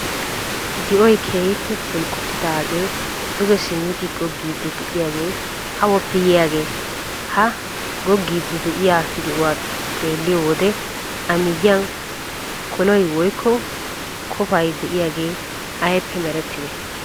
Di'oy keehippe bulqqotidaagee duge simmidi goggiiddi de'iyagee awappe yiyagee? Ha goggiiddi de'iya di'uwa xeelliyo wode A miyiyan koloy woykko kofay de'iyagee aybippe merettidee?